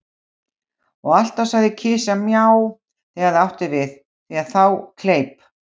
Og alltaf sagði kisa Mjá, þegar það átti við, því að þá kleip